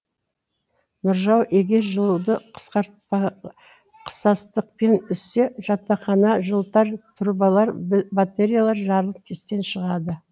нұржау егер жылуды қысастықпен үзсе жатақхананы жылытар трубалар батереялар жарылып істен шығады